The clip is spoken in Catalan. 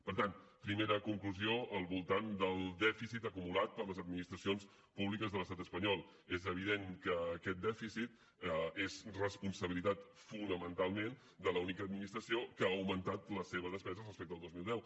per tant primera conclusió al voltant del dèficit acumulat per les administracions públiques de l’estat espanyol és evident que aquest dèficit és responsabilitat fonamentalment de l’única administració que ha augmentat la seva despesa respecte al dos mil deu